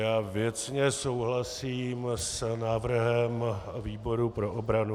Já věcně souhlasím s návrhem výboru pro obranu.